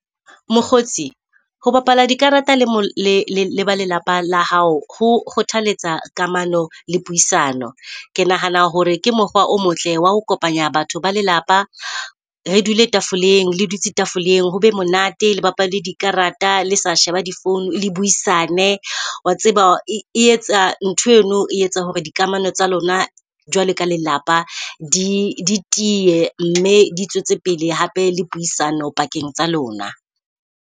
Mokgotsi, ho bapala dikarata le mo le leba lelapa la hao ho kgothaletsa kamano le puisano. Ke nahana hore ke mokgwa o motle wa ho kopanya batho ba lelapa. Re dule tafoleng, le dutse tafoleng ho be monate. Le bale dikarata le sa sheba di-phone le buisane. Wa tseba e etsa ntho eno e etsa hore dikamano tsa lona jwalo ka lelapa di di tiye mme di tswetse pele hape le puisano pakeng tsa lona.